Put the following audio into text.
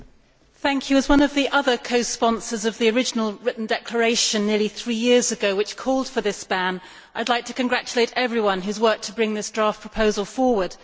Madam President, as one of the other co sponsors of the original written declaration nearly three years ago, which called for this ban, I should like to congratulate everyone who has worked to bring this draft proposal forward.